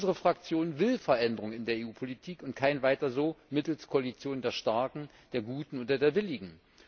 Unsere Fraktion will Veränderungen in der EU Politik und kein weiter so mittels Koalitionen der Starken, der Guten oder der Willigen.